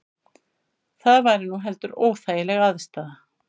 Það væri nú heldur óþægileg aðstaða